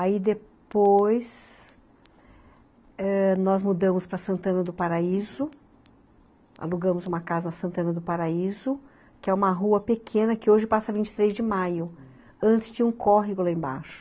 Aí depois ãh nós mudamos para Santana do Paraíso, alugamos uma casa Santana do Paraíso, que é uma rua pequena que hoje passa vinte e três de maio, antes tinha um córrego lá embaixo.